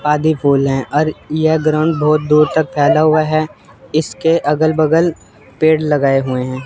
आदि फूल हैं और यह ग्राउंड बहुत दूर तक फैला हुआ है। इसके अगल बगल पेड़ लगाए हुए हैं।